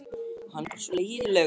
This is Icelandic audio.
Hann er bara svona leiðinlegur.